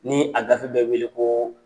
Ni a gafe bɛ wele ko